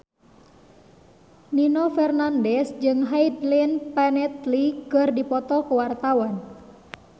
Nino Fernandez jeung Hayden Panettiere keur dipoto ku wartawan